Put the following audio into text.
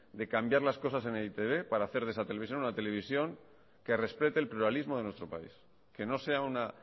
de cambiar las cosas en e i te be para hacer de esa televisión una televisión que respete el pluralismo de nuestro país que no sea una